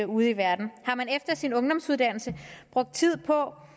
ude i verden har man efter sin ungdomsuddannelse brugt tid på